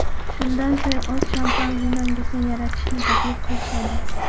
Shundan so‘ng o‘z shampan vinongizni yaratishni taklif qilishadi.